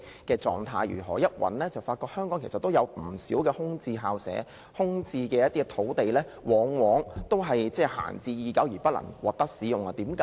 當他們搜尋有關資料時，發覺香港原來有不少空置校舍及空置土地，而且往往閒置已久而未獲使用。